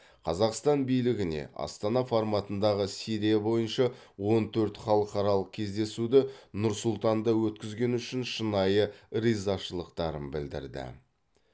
қазақстан билігіне астана форматындағы сирия бойынша он төрт халықаралық кездесуді нұр сұлтанда өткізгені үшін шынайы ризашылықтарын білдірді